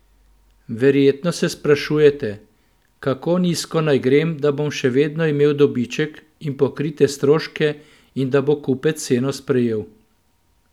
Verjetno se sprašujete: "Kako nizko naj grem, da bom še vedno imel dobiček in pokrite stroške in da bo kupec ceno sprejel?